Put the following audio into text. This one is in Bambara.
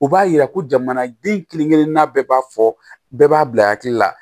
U b'a yira ko jamanaden kelen-kelennan bɛɛ b'a fɔ bɛɛ b'a bila hakili la